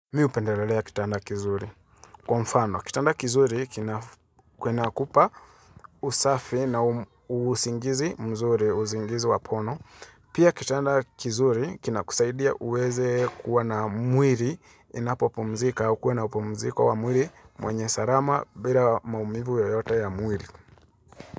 Mimi hupendelelea kitanda kizuri. Kwa mfano, kitanda kizuri kina kinakupa usafi na usingizi mzuri, usingizi wa pono. Pia kitanda kizuri kina kusaidia uweze kuwa na mwili inapo pumzika, ukue na upumziko wa mwili mwenye salama bila maumivu yoyota ya mwili.